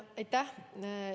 Aitäh!